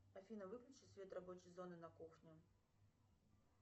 афина выключи свет рабочей зоны на кухне